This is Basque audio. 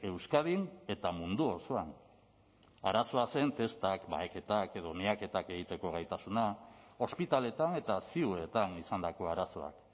euskadin eta mundu osoan arazoa zen testak baheketak edo miaketak egiteko gaitasuna ospitaletan eta ziuetan izandako arazoak